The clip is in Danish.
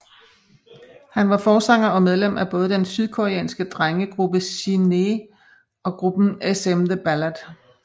Han var forsanger og medlem af både den sydkoreanske drengegruppe SHINee og gruppen SM The Ballad